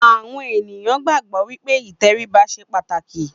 àwọn ènìyàn gbàgbọ́ wípé ìtẹríba ṣe pàtàkì